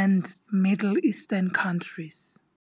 and Middle Eastern countries.